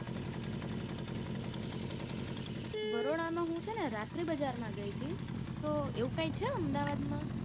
બરોડા મા હું છે ને રાત્રી બજાર મા ગઈ હતી, તો એવું કાઈ છે અમદાવાદ મા?